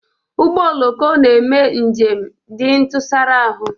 Ụgbọ oloko na-eme njem dị ntụsara ahụ